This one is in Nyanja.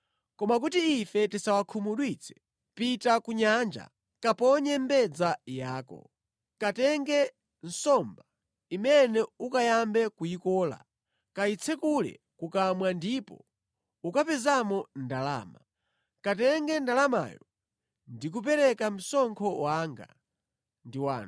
Koma kuti ife tisawakhumudwitse pita ku nyanja kaponye mbedza yako. Katenge nsomba imene ukayambe kuyikola; kayitsekule kukamwa ndipo ukapezamo ndalama. Katenge ndalamayo ndi kukapereka msonkho wanga ndi wanu.